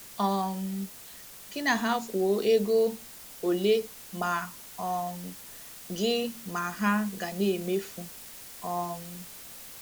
um Gị na ha kwuo ego ole ma um gị ma ha ga na - emefu. um